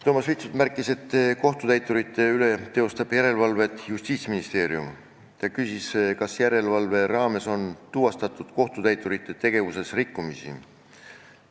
Toomas Vitsut märkis, et kohtutäiturite üle teostab järelevalvet Justiitsministeerium, ja küsis, kas järelevalve raames on tuvastatud kohtutäiturite tegevuses rikkumisi.